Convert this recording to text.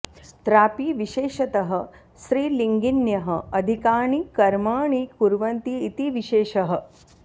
त्रापि विशेषतः स्त्रीलिङ्गिन्यः अधिकानि कर्माणि कुर्वन्ति इति विशेषः